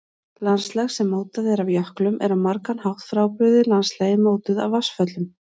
Landslag sem mótað er af jöklum er á margan hátt frábrugðið landslagi mótuðu af vatnsföllum.